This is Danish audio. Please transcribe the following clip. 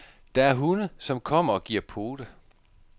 Der er hunde, som kommer og giver pote.